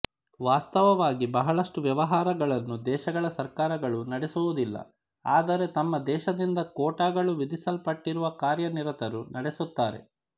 ವಾಸ್ತವವಾಗಿ ಬಹಳಷ್ಟು ವ್ಯವಹಾರಗಳನ್ನು ದೇಶಗಳ ಸರ್ಕಾರಗಳು ನಡೆಸುವುದಿಲ್ಲ ಆದರೆ ತಮ್ಮ ದೇಶದಿಂದ ಕೋಟಾಗಳು ವಿಧಿಸಲ್ಪಟ್ಟಿರುವ ಕಾರ್ಯನಿರತರು ನಡೆಸುತ್ತಾರೆ